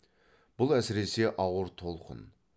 бұл әсіресе ауыр толқын